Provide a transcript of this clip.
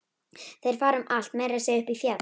Þeir fara um allt, meira að segja upp í fjall.